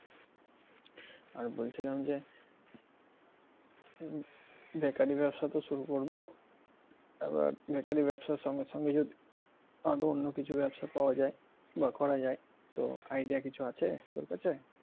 আর বলছিলাম যে bakery র ব্যবসা তো শুরু করব আবার bakery র সঙ্গে সঙ্গে যদি আরও অন্য কিছু ব্যাবসা পাওয়া যায় বা করা যায় তো idea কিছু আছে তোর কাছে?